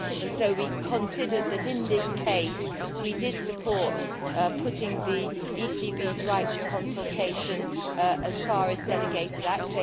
So we considered that, in this case, we did support putting the ECB's right to consultation as far as delegated acts.